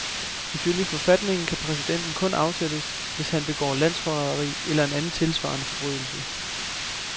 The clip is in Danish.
Ifølge forfatningen kan præsidenten kun afsættes, hvis han begår landsforræderi eller en anden tilsvarende forbrydelse.